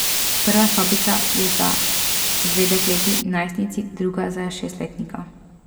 Prva sobica je za dve dekleti, najstnici, druga za šestletnika.